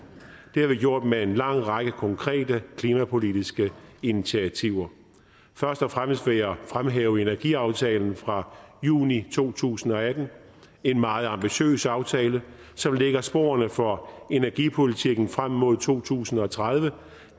det har vi gjort med en lang række konkrete klimapolitiske initiativer først og fremmest vil jeg fremhæve energiaftalen fra juni to tusind og atten en meget ambitiøs aftale som lægger sporene for energipolitikken frem mod to tusind og tredive